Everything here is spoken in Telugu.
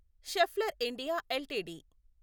Schaeffler India LTD